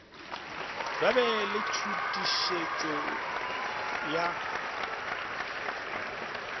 ba be le tšhutišego ya